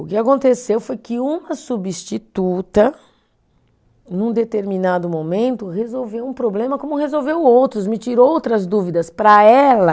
O que aconteceu foi que uma substituta, num determinado momento, resolveu um problema como resolveu outros, me tirou outras dúvidas para ela.